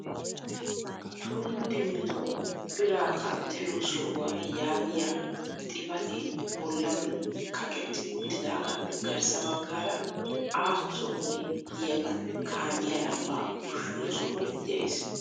Tullu dimttu biraa qanxxiyo sohuwa yaagiyaa xipatee bollan kaqetti uttidaagaappe garssa baggaara aaho sohoy diyagan kaamiya lambbaa ushshiyo sohoy de'es.